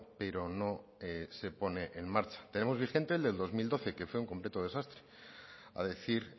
pero no se pone en marcha tenemos vigente el del dos mil doce que fue un completo desastre a decir